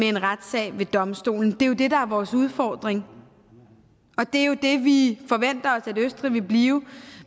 en retssag ved domstolen det er jo det der er vores udfordring og det er jo det vi forventer østrig vil blive